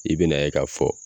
I be na ye ka fɔ